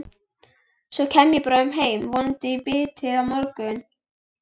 Svo kem ég bráðum heim, vonandi í bítið á morgun.